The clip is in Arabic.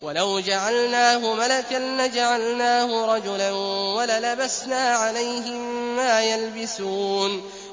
وَلَوْ جَعَلْنَاهُ مَلَكًا لَّجَعَلْنَاهُ رَجُلًا وَلَلَبَسْنَا عَلَيْهِم مَّا يَلْبِسُونَ